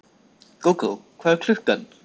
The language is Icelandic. Gógó, hvað er klukkan?